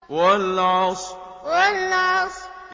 وَالْعَصْرِ وَالْعَصْرِ